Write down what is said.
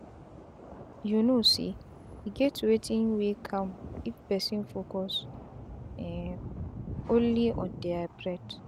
you know say e get wetin wey calm if person focus um only on dia breath.